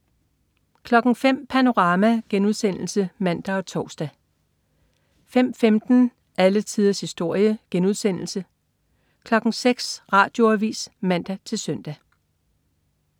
05.00 Panorama* (man og tors) 05.15 Alle tiders historie* 06.00 Radioavis (man-søn)